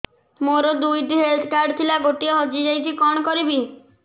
ମୋର ଦୁଇଟି health card ଥିଲା ଗୋଟିଏ ହଜି ଯାଇଛି କଣ କରିବି